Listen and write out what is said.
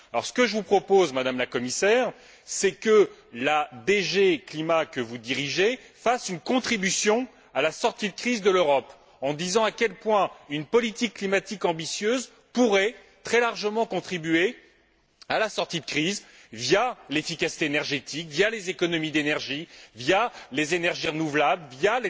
Ce que je vous propose, Madame la Commissaire, c'est que la DG CLIMA, que vous dirigez, apporte sa pierre à la sortie de crise de l'Europe, en disant à quel point une politique climatique ambitieuse pourrait, très largement, contribuer à la sortie de crise via l'efficacité énergétique, via les économies d'énergie, via les énergies renouvelables, via